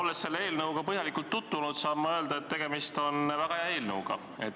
Olles selle eelnõuga põhjalikult tutvunud, saan ma öelda, et tegemist on väga hea eelnõuga.